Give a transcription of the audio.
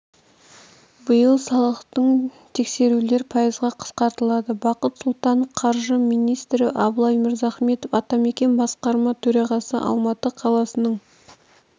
биыл салықтық тексерулер пайызға қысқартылады бақыт сұлтанов қаржы министрі абылай мырзахметов атамекен басқарма төрағасы алматы қаласының